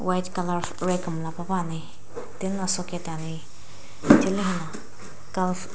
white colour rag miila pae pane ano soket ane thili --